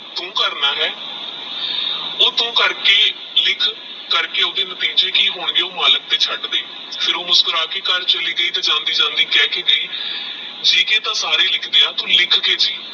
ਤੂ ਕਰਨਾ ਆਹ ਓਹ ਤੂ ਕਾਕਰ ਹੀ ਲਿਖ ਕਰਕੇ ਓਹ੍ਨ੍ਦੇ ਨਤੀਜੇ ਕੀ ਹੋਣਗੇ ਓਹ ਤੂ ਮਲਿਕ ਤੇਹ ਹੀ ਚੜ ਦੇ ਫਿਰ ਓਹ ਮੁਸ੍ਕੁਰਾ ਕੇ ਘਰ ਚਲੀ ਗਯੀ ਫਿਰ ਜਾਂਦੀ ਕਹ ਕ ਗਈ ਜੀਕੇ ਤੇਹ ਸਾਰੇ ਲਿਖਦੇ ਆਹ ਤੂ ਲਿਖ ਕੇ ਜੀ